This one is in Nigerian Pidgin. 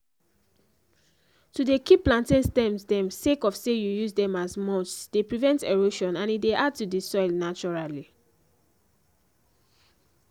to dey keep plantain stems dem sake of say you use them as mulchs dey prevent erosion and e dey add to the soil naturally